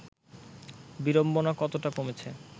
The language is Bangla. বিড়ম্বনা কতটা কমেছে